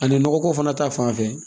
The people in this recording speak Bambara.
Ani nɔgɔko fana ta fanfɛ